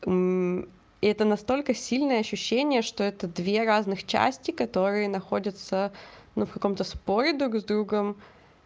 это настолько сильное ощущение что это две разных частей которые находятся ну в каком-то споре друг с другом